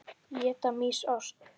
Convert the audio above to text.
Éta mýs ost?